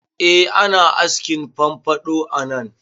Eh ana askin famfaɗo a nan